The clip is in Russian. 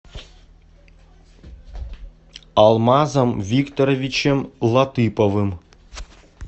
алмазом викторовичем латыповым